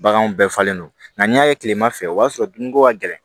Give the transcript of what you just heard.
Baganw bɛɛ falen don nka n'i y'a ye kilema fɛ o b'a sɔrɔ dumuniko ka gɛlɛn